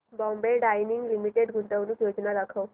Bombay Dyeing limited गुंतवणूक योजना दाखव